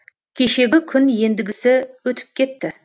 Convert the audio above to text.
кешегі күн ендігісі өтіп кетті